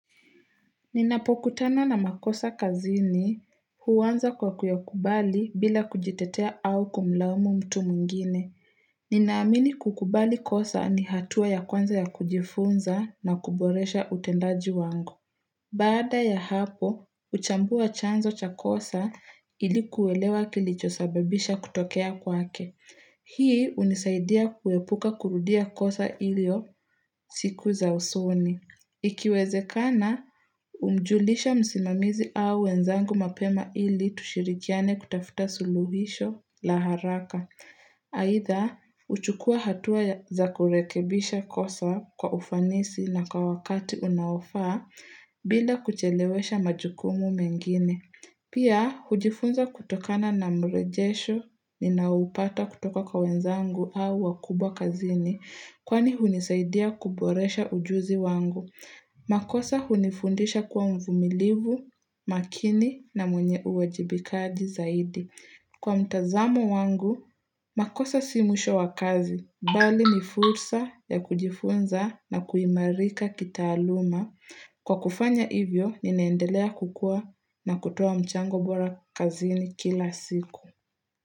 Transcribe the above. Ninapokutana na makosa kazini huanza kwa kuyakubali bila kujitetea au kumlaumu mtu mwengine. Ninaamini kukubali kosa ni hatua ya kwanza ya kujifunza na kuboresha utendaji wangu. Baada ya hapo, uchambua chanzo cha kosa ili kuelewa kilichosababisha kutokea kwake. Hii unisaidia kuepuka kurudia kosa ilio siku za usoni. Ikiwezekana, umjulisha msimamizi au wenzangu mapema ili tushirikiane kutafuta suluhisho la haraka. Aidha, uchukua hatua za kurekebisha kosa kwa ufanisi na kwa wakati unaofaa bila kuchelewesha majukumu mengine. Pia, hujifunza kutokana na mrejesho ninaoupata kutoka kwa wenzangu au wakubwa kazini kwani hunisaidia kuboresha ujuzi wangu. Makosa hunifundisha kuwa mvumilivu, makini na mwenye uwajibikaji zaidi. Kwa mtazamo wangu, makosa si mwisho wa kazi, bali ni fursa ya kujifunza na kuimarika kitaaluma. Kwa kufanya hivyo, ninaendelea kukua na kutoa mchango bora kazini kila siku.